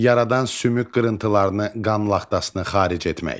Yaradan sümük qırıntılarını, qan laxtasını xaric etmək.